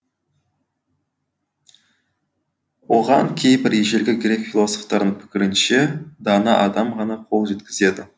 оған кейбір ежелгі грек философтарының пікірінше дана адам ғана қол жеткізеді